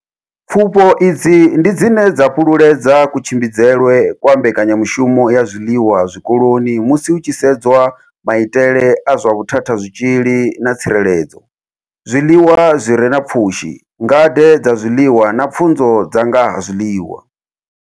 Pfufho idzi ndi dzine dza fhululedza kutshimbidzelwe kwa mbekanyamushumo ya zwiḽiwa zwikoloni musi hu tshi sedzwa maitele a zwa vhuthathazwitzhili na tsireledzo, zwiḽiwa zwi re na pfushi, ngade dza zwiḽiwa na pfunzo dza nga ha zwiḽiwa.